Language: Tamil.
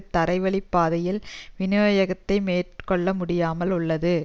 தரைவழி பாதையால் விநியோகத்தை மேற்கொள்ள முடியாமல் உள்ளது